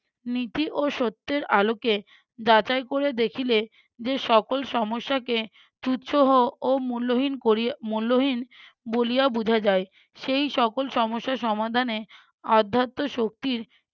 নীতি ও সত্যের আলোকে যাচাই করে দেখিলে যে সকল সমস্যাকে তুচ্ছ হো ও মূল্যহীন করিয়া ও মূল্যহীন বলিয়া বুঝা যায়। সেই সকল সমস্যা সমাধানে আধ্যাত্ব শক্তির